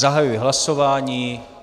Zahajuji hlasování.